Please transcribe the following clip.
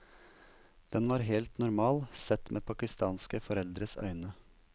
Den var helt normal, sett med pakistanske foreldres øyne.